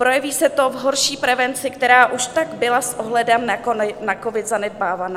Projeví se to v horší prevenci, která už tak byla s ohledem na covid zanedbávaná.